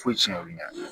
Foyi tiɲɛ olu ɲɛfɛ